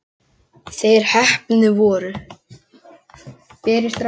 Þeir heppnu voru